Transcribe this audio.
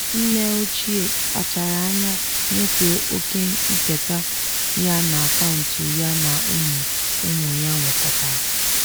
nne ochie kpachara anya nyefee oke nketa ya n'akaụntụ ya na ụmụ ụmụ ya nwekọtara.